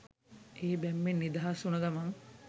ඒ බැම්මෙන් නිදහස් උන ගමන්